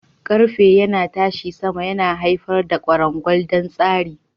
Ƙarfe na ƙarfe yana tashi sama, yana haifar da kwarangwal don tsarin.